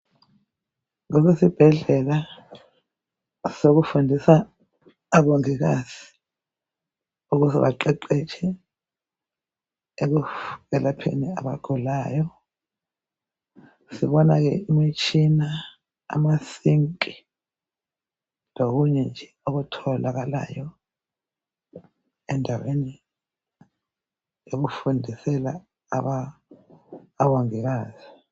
Esibhedlela okundisa omongikazi ukuba baqeqetshe ekulapheni abagulayo ,sibona ke imitshina amasinki lokunye nje okutholakalayo endaweni yokufundisela omongikazi.